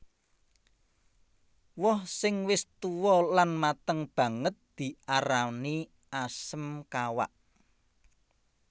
Woh sing wis tuwa lan mateng banget diarani asem kawak